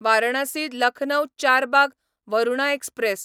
Varanasi Lucknow Charbagh Varuna express